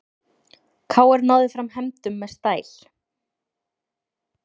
KR náði fram hefndum með stæl